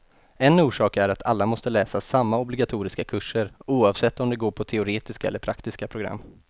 En orsak är att alla måste läsa samma obligatoriska kurser, oavsett om de går teoretiska eller praktiska program.